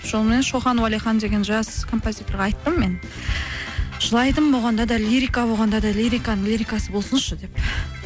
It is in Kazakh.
шоқан уәлихан деген жас композиторға айттым мен жылайтын болғанда да лирика болғанда да лириканың лирикасы болсыншы деп